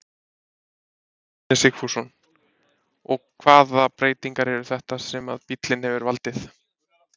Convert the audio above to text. Ingólfur Bjarni Sigfússon: Og hvaða breytingar eru þetta sem að bíllinn hefur valdið?